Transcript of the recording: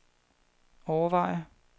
overveje